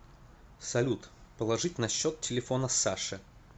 салют положить на счет телефона саше